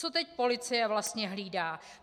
Co teď policie vlastně hlídá?